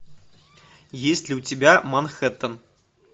есть ли у тебя манхэттен